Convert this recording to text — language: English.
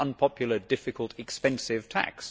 It is an unpopular, difficult, expensive tax.